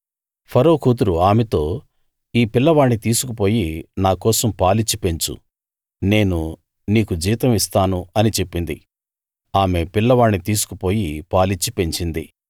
ఫరో కూతురు ఆమెతో ఈ పిల్లవాణ్ణి తీసుకు పోయి నా కోసం పాలిచ్చి పెంచు నేను నీకు జీతం ఇస్తాను అని చెప్పింది ఆమె పిల్లవాణ్ణి తీసుకు పోయి పాలిచ్చి పెంచింది